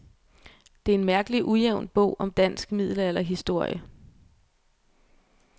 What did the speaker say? Det er en mærkelig ujævn bog om dansk middelalderhistorie.